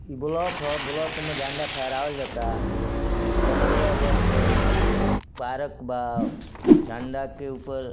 block ह | block मे झंडा फहरावल जाता पंद्रह अगस्त के फहरत बा झंडा के ऊपर --